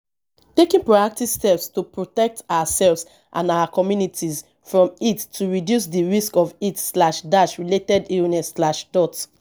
taking proactive steps to protect ourselves and our communities from heat go reduce di risk of heat-related illness.